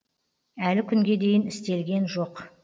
әлі күнге дейін істелген жоқ